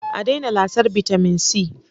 A daina lasar bitamin C